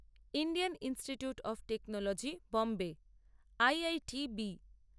Indian Institute of Technology Bombay IITB